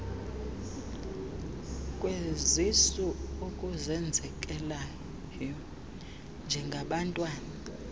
kwezisu okuzenzekelayo njengabantwana